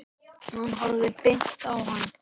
Hann horfði beint á hana.